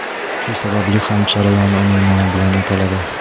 Shu sababli ham jarayon uning nomi bilan ataladi.